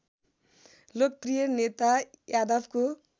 लोकप्रिय नेता यादवको